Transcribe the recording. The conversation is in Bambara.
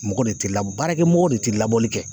Mɔgɔ de ti baarakɛ mɔgɔ de ti labɔli kɛ.